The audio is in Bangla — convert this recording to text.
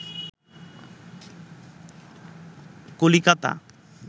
কলিকাতা